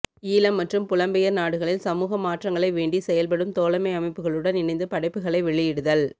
ஈழம் மற்றும் புலம்பெயர் நாடுகளில் சமூக மாற்றங்களை வேண்டி செயல்படும் தோழமை அமைப்புகளுடன் இணைந்து படைப்புகளை வெளியிடுதல்